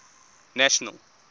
national